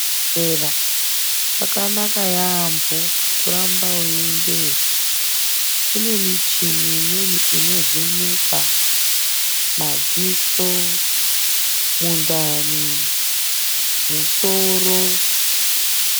Kuzvibhedhlera kwakanaka yambo kuramba weyiendeyo nekuti kunemichini imweni inovheneka madziso mundani musoro.